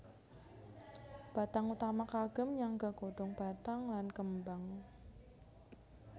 Batang utama kagem nyangga godong batang lan kembang